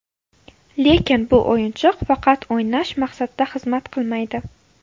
Lekin bu o‘yinchoq faqat o‘ynash maqsadida xizmat qilmaydi.